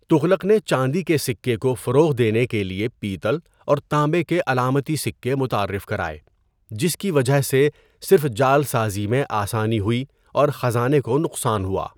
تغلق نے چاندی کے سکے کو فروغ دینے کے لیے پیتل اور تانبے کے علامتی سکے متعارف کرائے جس کی وجہ سے صرف جعل سازی میں آسانی ہوئی اور خزانے کو نقصان ہوا۔